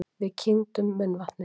Við kyngdum munnvatni.